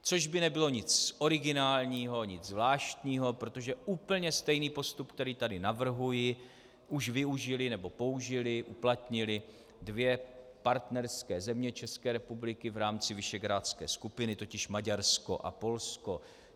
Což by nebylo nic originálního, nic zvláštního, protože úplně stejný postup, který tady navrhuji, už využily nebo použily, uplatnily dvě partnerské země České republiky v rámci visegrádské skupiny - totiž Maďarsko a Polsko.